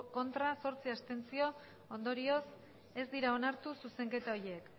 ez zortzi abstentzio ondorioz ez dira onartu